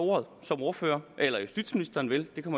ordet som ordfører eller at justitsministeren vil det kan